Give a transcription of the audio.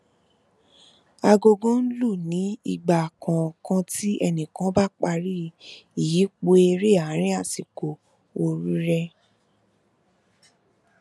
agogo n lù ní ìgbà kọọkan tí ẹnìkan bá parí ìyípo eré àárín àsìkò ooru rẹ